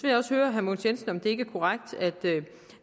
jeg også høre herre mogens jensen om det ikke er korrekt at